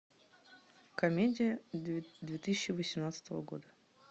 комедия две тысячи восемнадцатого года